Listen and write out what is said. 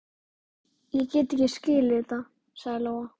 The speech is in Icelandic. Ég get ekki skilið þetta, sagði Lóa.